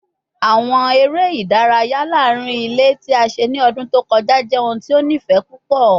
Awọn ere idaraya laarin ile ti a ṣe ni ọdun to kọja jẹ ohun ti o nifẹ pupọ